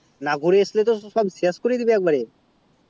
না ঘুরে আসলে তো সব শেষ করে দিবে